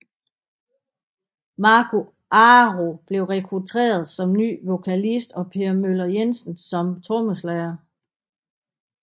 Marco Aro blev rekruteret som ny vokalist og Per Möller Jensen som trommeslager